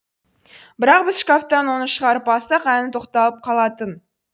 бірақ біз шкафтан оны шығарып алсақ әні тоқталып қалатын